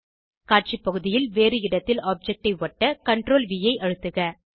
காட்சி பகுதியில் வேறு இடத்தில் ஆப்ஜெக்ட் ஐ ஒட்ட CTRLV ஐ அழுத்துக